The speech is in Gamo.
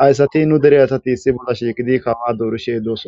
hayssati nu dere asati si bolla shiiqidi kawa doorishe dooson